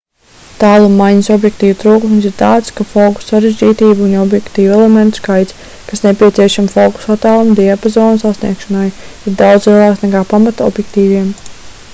tālummaiņas objektīvu trūkums ir tāds ka fokusa sarežģītība un objektīvu elementu skaits kas nepieciešami fokusa attāluma diapazona sasniegšanai ir daudz lielāks nekā pamata objektīviem